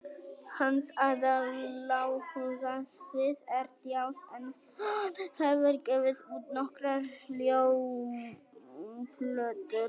Hans aðaláhugasvið er djass en hann hefur gefið út nokkrar hljómplötur.